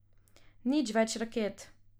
Nič več raket!